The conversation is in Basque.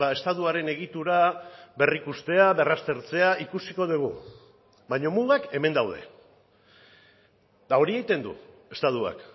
estatuaren egitura berrikustea berraztertzea ikusiko dugu baina mugak hemen daude eta hori egiten du estatuak